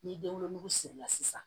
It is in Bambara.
Ni den wolonugu sirila sisan